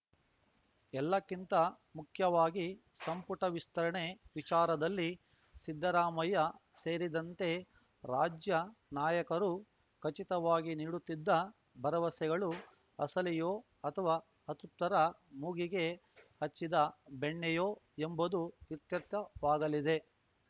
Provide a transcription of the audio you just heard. ಎಲ್ಲಕ್ಕಿಂತ ಮುಖ್ಯವಾಗಿ ಸಂಪುಟ ವಿಸ್ತರಣೆ ವಿಚಾರದಲ್ಲಿ ಸಿದ್ದರಾಮಯ್ಯ ಸೇರಿದಂತೆ ರಾಜ್ಯ ನಾಯಕರು ಖಚಿತವಾಗಿ ನೀಡುತ್ತಿದ್ದ ಭರವಸೆಗಳು ಅಸಲಿಯೋ ಅಥವಾ ಅತೃಪ್ತರ ಮೂಗಿಗೆ ಹಚ್ಚಿದ ಬೆಣ್ಣೆಯೋ ಎಂಬುದು ಇತ್ಯರ್ಥವಾಗಲಿದೆ